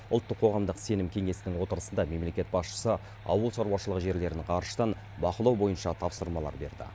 ұлттық қоғамдық сенім кеңесінің отырысында мемлекет басшысы ауыл шаруашылығы жерлерін ғарыштан бақылау бойынша тапсырмалар берді